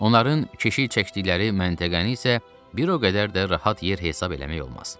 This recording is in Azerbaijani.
Onların keşiy çəkdikləri məntəqəni isə bir o qədər də rahat yer hesab eləmək olmaz.